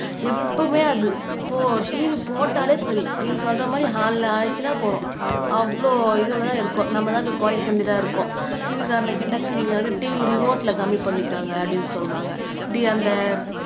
எப்பவுமே அது ஓ TV போட்டாலே சரி நீங்க சொல்ற மாதிரி ஆயிடுச்சுன்னா போதும் அவ்ளோ இதுல தான் இருக்கும் நம்மதான் இப்படி குறைக்க வேண்டியதா இருக்கும் TV காரனை கேட்டாக்கா நீங்க வந்து TV ரிமோட்ல கம்மி பண்ணிக்கங்க அப்படின்னு சொல்லுவாங்க